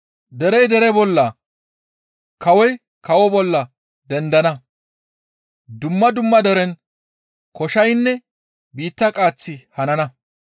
Derey dere bolla, kawoy kawo bolla dendana; dumma dumma deren koshaynne biitta qaaththi hanana.